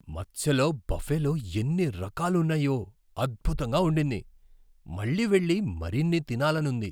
మత్స్యలో బఫేలో ఎన్ని రకాలు ఉన్నాయో, అద్భుతంగా ఉండింది! మళ్ళీ వెళ్ళి మరిన్ని తినాలనుంది.